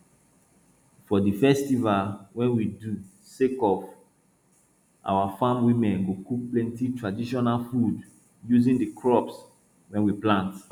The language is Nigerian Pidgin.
for di festival wey we do sake of our farm women go cook plenti traditional food using di crops wey we plant